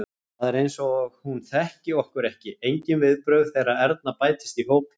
Það er eins og hún þekki okkur ekki, engin viðbrögð þegar Erna bætist í hópinn.